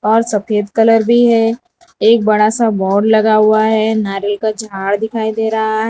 और सफेद कलर भी है एक बड़ा सा बोर्ड लगा हुआ है नारियल का झाड़ दिखाई दे रहा है।